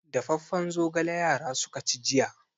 Dafaffen zogala yara suka ci jiya.